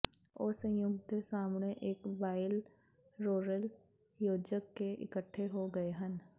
ਉਹ ਸੰਯੁਕਤ ਦੇ ਸਾਹਮਣੇ ਇਕ ਬਾਈਲਰੈਿਰਲ ਯੋਜਕ ਕੇ ਇਕੱਠੇ ਹੋ ਗਏ ਹਨ